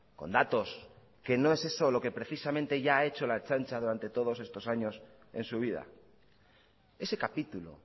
con datos que no es eso lo que precisamente ya ha hecho la ertzaintza durante todos estos años en su vida ese capítulo